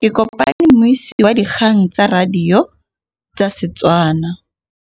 Ke kopane mmuisi w dikgang tsa radio tsa Setswana.